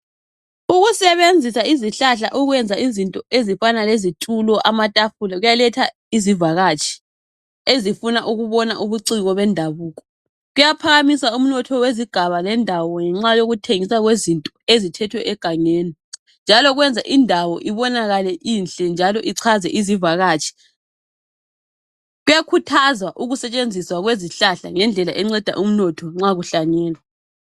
Ukusebenzisa izihlahla ukwenza izinto ezifana lezitulo amatafula kuyaletha izivakatshi ezifuna ukubona ubuciko bendabuko. Kuyaphakamisa umnotho wezigaba lendawo ngenxa yokuthengiswa kwezinto ezithethwe egangeni njalo kwenza indawo ibonakale inhle njalo ichaze izivakatshi. Kuyakuthazwa ukusetshenziswa kwezihlahla ngendlela enceda umnotho nxa kuhlanyelwa.